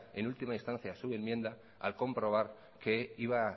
en última instancia su enmienda al comprobar que iba